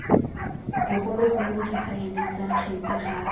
bogologolo difaele tsa kgetse ga